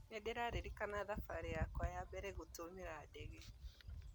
Nĩndĩraririkana thabarĩ yakwa ya mbere gũtũmĩra ndege